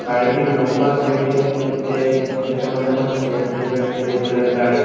গাড়িটির নম্বরপ্লেটের মধ্যে দেখে মনে হচ্ছে একটি ওয়েস্টবেঙ্গলের গাড়ি।